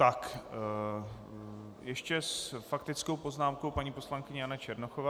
Tak ještě s faktickou poznámkou paní poslankyně Jana Černochová.